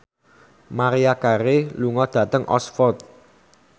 Maria Carey lunga dhateng Oxford